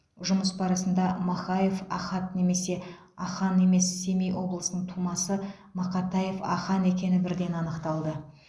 жұмыс барысында махаев ахат немесе ахан емес семей облысының тумасы мақатаев ахан екені бірден анықталды